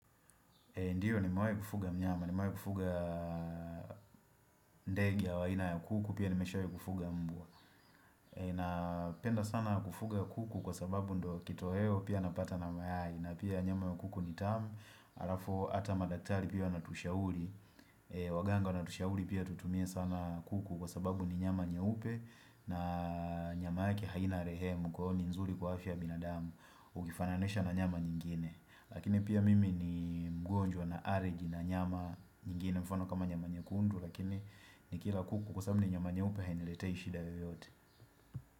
Ndiyo nimewai kufuga mnyama, nimewai kufuga ndege au aina ya kuku, pia nimeshawai kufuga mbwa Napenda sana kufuga kuku kwa sababu ndo kitoweo pia napata na mayai na pia nyama ya kuku ni tamu, alafu ata madaktari pia wanatushauli Waganga natushauli pia tutumie sana kuku kwa sababu ni nyama nyeupe na nyama yake haina rehemu kwa hiyo ni nzuri kwa afya ya binadamu Ukifananisha na nyama nyingine Lakini pia mimi ni mgonjwa na areji na nyama nyingine mfano kama nyama nyekundu Lakini nikila kuku kwa sababu ni nyama nyeupe hainiletei shida yeyote.